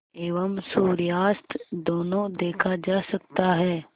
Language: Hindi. एवं सूर्यास्त दोनों देखा जा सकता है